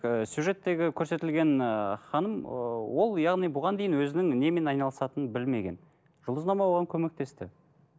ыыы сюжеттегі көрсетілген ыыы ханым ы ол яғни бұған дейін өзінің немен айналысатынын білмеген жұлдызнама оған көмектесті